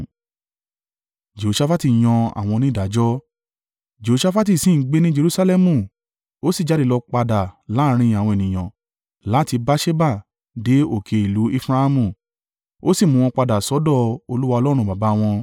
Jehoṣafati sì ń gbé ní Jerusalẹmu ó sì jáde lọ padà láàrín àwọn ènìyàn láti Beerṣeba dé òkè ìlú Efraimu, ó sì mú wọn padà sọ́dọ̀ Olúwa Ọlọ́run baba wọn.